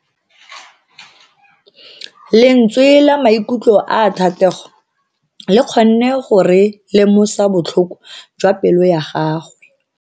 Lentswe la maikutlo a Thatego le kgonne gore re lemosa botlhoko jwa pelo ya gagwe.